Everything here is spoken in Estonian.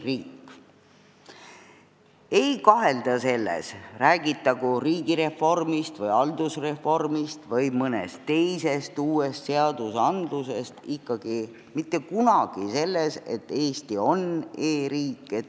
Mitte kunagi ei kahelda selles – räägitagu riigireformist või haldusreformist või mõnest muust uuest seadusest –, et Eesti on e-riik.